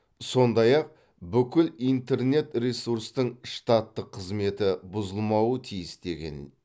сондай ақ бүкіл интернет ресурстың штаттық қызметі бұзылмауы тиіс деген